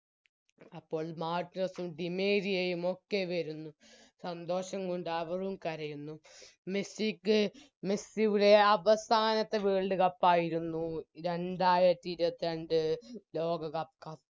അപ്പോൾ മാർട്ടിനെസ്സും ഡിമേരിയയും ഒക്കെ വരുന്നു സന്തോഷം കൊണ്ട് അവരും കരയുന്നു മെസ്സിക്ക് മെസ്സിയുടെ അവസാനത്തെ World cup ആയിരുന്നു രണ്ടായിരത്തി ഇരുപത്രണ്ട് ലോകകപ്പ്